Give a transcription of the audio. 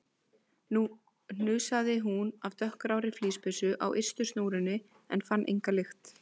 Nú hnusaði hún af dökkgrárri flíspeysu á ystu snúrunni en fann enga lykt.